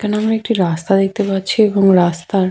এখানে আমরা একটি রাস্তা দেখতে পাচ্ছি এবং রাস্তার--